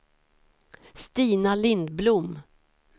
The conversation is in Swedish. Stina Lindblom